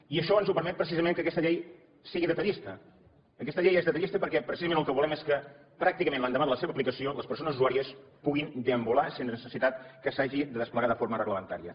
i això ens ho permet precisament que aquesta llei sigui detallista aquesta llei és detallista perquè precisament el que volem és que pràcticament l’endemà de la seva aplicació les persones usuàries puguin deambular sense necessitat que s’hagi de desplegar de forma reglamentària